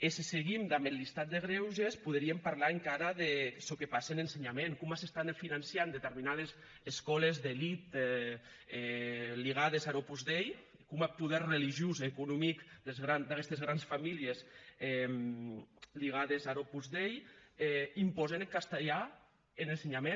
e se seguim damb eth listat de grèuges poderíem parlar encara de çò que passe en ensenhament coma se financen determinades escòles d’elèit ligades ar opus dei coma eth poder religiós e economic d’aguestes granes familhes ligades ar opus dei impòsen eth castelhan en ensenhament